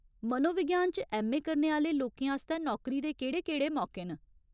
मनोविज्ञान च ऐम्म.ए. करने आह्‌ले लोकें आस्तै नौकरी दे केह्ड़े केह्ड़े मौके न ?